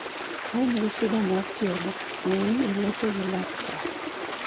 ka in gi shida mar tielo, ne ni iloso gi laktar